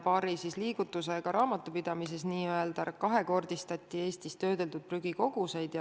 Paari liigutusega raamatupidamises n-ö kahekordistati Eestis töödeldud prügikoguseid.